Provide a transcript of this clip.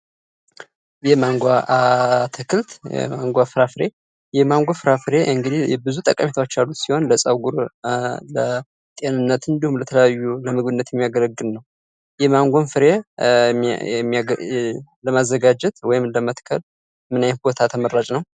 የማንጎ አትክልት፣ የማንጎ ፍራፍሬ፤ የማንጎ ፍራፍሬ እንግዲህ ብዙ ጠቀሜታዎች አሉት። ሲሆን ለጸጉር፣ ለጤንነት እንዲሁም ለተለያዩ ለምግብነት የሚያገለግል ነው። የማንጎን ፍሬ ለማዘጋጀት ወይም ለመትከል ምን አይነት ቦታ ተመራጭ ነው?